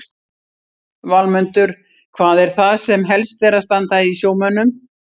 Valmundur, hvað er það sem helst er að standa í sjómönnum?